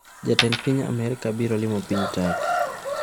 Jatend piny Amerka biro limo piny Turkey